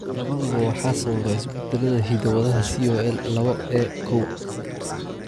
Labaduba waxa sababa isbeddellada hidda-wadaha COL lawo A koow.